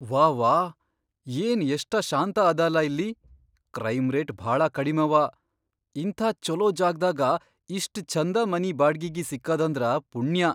ವಾವ್ಹಾ, ಏನ್ ಎಷ್ಟ ಶಾಂತ ಅದಲಾ ಇಲ್ಲಿ ಕ್ರೈಮ್ ರೇಟ್ ಭಾಳ ಕಡಿಮವ! ಇಂಥ ಛೊಲೋ ಜಾಗ್ದಾಗ ಇಷ್ಟ್ ಛಂದ ಮನಿ ಬಾಡ್ಗಿಗಿ ಸಿಕ್ಕದಂದ್ರ ಪುಣ್ಯಾ.